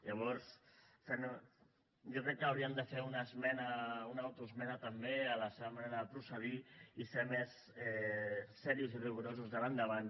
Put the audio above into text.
llavors jo crec que haurien de fer una esmena una autoesmena també a la seva manera de procedir i ser més seriosos i rigorosos d’ara endavant